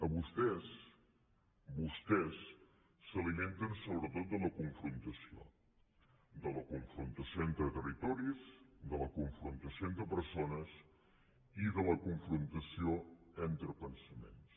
vostès s’alimenten sobretot de la confrontació de la confrontació entre ter ritoris de la confrontació entre persones i de la confrontació entre pensaments